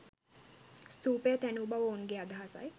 ස්ථූපය තැනූ බව ඔවුන්ගේ අදහසයි.